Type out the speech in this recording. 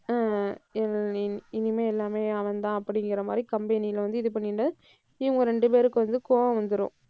ஆஹ் இனி~ இனிமே எல்லாமே அவன்தான் அப்படிங்கிற மாதிரி company ல வந்து இது பண்ணிட்டு இவங்க ரெண்டு பேருக்கும் வந்து கோபம் வந்துரும்.